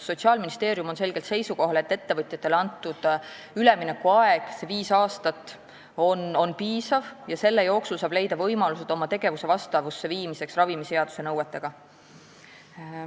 Sotsiaalministeerium on selgelt seisukohal, et ettevõtjatele antud üleminekuaeg viis aastat on piisav ja selle aja jooksul saab leida võimalused oma tegevuse vastavusse viimiseks ravimiseaduse nõuetega.